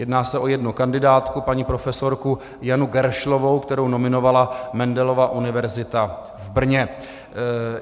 Jedná se o jednu kandidátku, paní profesorku Janu Geršlovou, kterou nominovala Mendelova univerzita v Brně.